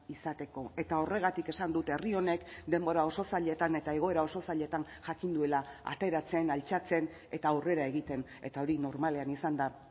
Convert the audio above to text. izateko eta horregatik esan dut herri honek denbora oso zailetan eta egoera oso zailetan jakin duela ateratzen altxatzen eta aurrera egiten eta hori normalean izan da